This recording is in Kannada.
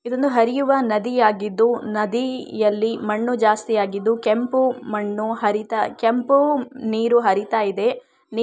ಇದೊಂದು ಹರಿಯುವ ನದಿಯಾಗಿದ್ದು ನದಿಯಲ್ಲಿ ಮಣ್ಣು ಜಾಸ್ತಿಯಾಗಿದ್ದು ಕೆಂಪು ಮಣ್ಣು ಹರಿತ ಕೆಂಪು ನೀರು ಹರಿತ ಇದೆ.